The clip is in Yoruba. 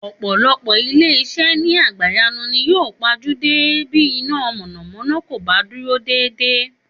Ò̩pò̩lo̩pò̩ ilé is̩é̩ ni àgbáyé ni yóò pa jú dé bí iná mò̩nàmó̩ná kò bá dúró dédé